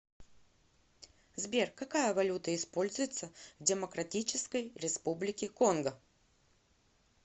сбер какая валюта используется в демократической республике конго